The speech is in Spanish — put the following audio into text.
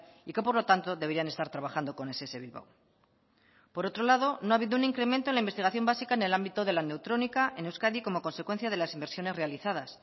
y que por lo tanto deberían estar trabajando con ess bilbao por otro lado no ha habido un incremento en la investigación básica en el ámbito de la neutrónica en euskadi como consecuencia de las inversiones realizadas